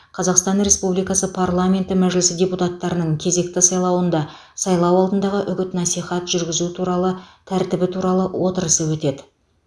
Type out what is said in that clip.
қазақстан республикасы парламенті мәжілісі депутаттарының кезекті сайлауында сайлау алдындағы үгіт насихат жүргізу туралы тәртібі туралы отырысы өтеді